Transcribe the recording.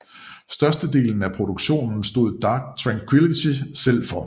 Størstedelen af produktionen stod Dark Tranquillity selv for